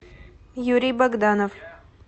юрий богданов